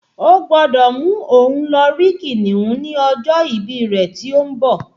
O gbọ́dọ̀ mú un lọ rí kìnìún ní ọjọ́ ìbí rẹ tí ó ń bọ̀